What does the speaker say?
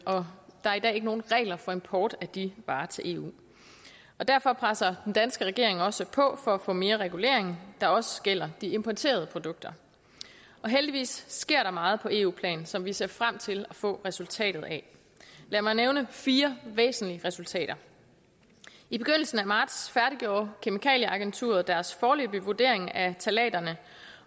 der er i dag ikke nogen regler for import af de varer til eu derfor presser den danske regering også på for at få mere regulering der også gælder de importerede produkter heldigvis sker der meget på eu plan som vi ser frem til at få resultatet af lad mig nævne fire væsentlige resultater i begyndelsen af marts færdiggjorde kemikalieagenturet deres foreløbige vurdering af ftalaterne